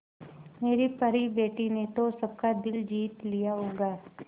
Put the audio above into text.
मेरी परी बेटी ने तो सबका दिल जीत लिया होगा